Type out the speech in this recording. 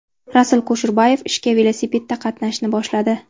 Rasul Kusherbayev ishga velosipedda qatnashni boshladi.